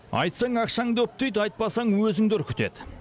айтсаң ақшаңды үптейді айтпасаң өзіңді үркітеді